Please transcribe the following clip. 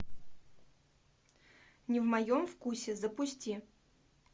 не в моем вкусе запусти